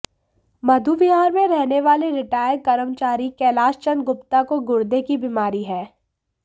मधुविहार में रहने वाले रिटायर कर्मचारी कैलाश चंद गुप्ता को गुर्दे की बीमारी है